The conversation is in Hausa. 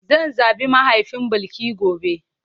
Zan zabi mahaifin Bilki gobe.